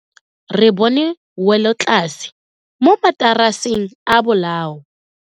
Re bone welotlase mo mataraseng a bolao.